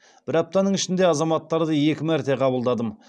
бір аптаның ішінде азаматтарды екі мәрте қабылдадым